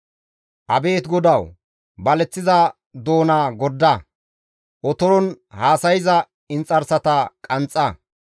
Abeet GODAWU! baleththiza doona gorda; otoron haasayza inxarsata qanxxa;